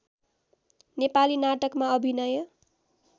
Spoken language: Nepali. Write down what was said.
नेपाली नाटकमा अभिनय